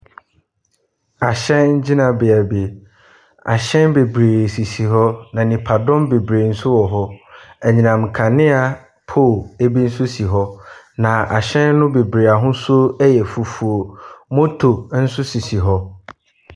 Ahyɛn gyinabea bi. Ahyɛn bebree sisi hɔ na nipadom bebree nso wɔ hɔ. Anyinam kanea pole ebi nso si hɔ na ahyɛn no bebree ahosuo ɛyɛ fufuo. Motor nso sisi hɔ.